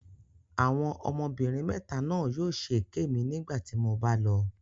Àwọn ọmọbìnrin mẹta náà yóò ṣe èké mi nígbà tí mo bá lọ.